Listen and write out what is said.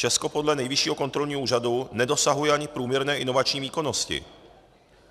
Česko podle Nejvyššího kontrolního úřadu nedosahuje ani průměrné inovační výkonnosti.